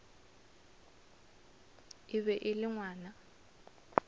e be e le ngwana